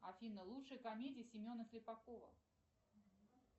афина лучшие комедии семена слепакова